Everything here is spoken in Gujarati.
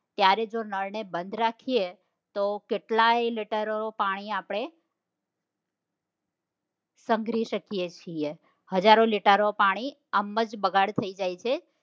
ત્યારે જો નળ ને બંધ રાખીએ તો કેટલાય લીટર પાણી આપણે સંઘરી શકીએ છીએ હજારો લિટરો પાણી આમજ બગાડ થઇ જાય છે